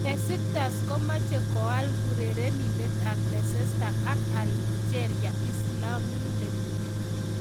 Besiktas komache koal urerenindet ab Leicester ak Algeria islamindet .